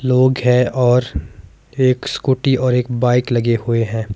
लोग है और एक स्कूटी और एक बाइक लगे हुए हैं।